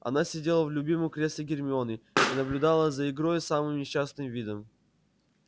она сидела в любимом кресле гермионы и наблюдала за игрой с самым несчастным видом